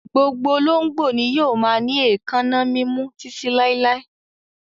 Gbogbo olóńgbò ni yóò máa ní èékánná mímú títí láíláí.